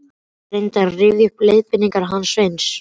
Ég reyndi að rifja upp leiðbeiningarnar hans Sveins